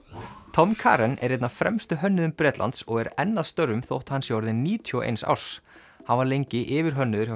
Tom Karen er einn af fremstu hönnuðum Bretlands og er enn að störfum þótt hann sé orðinn níutíu og eins árs hann var lengi yfirhönnuður hjá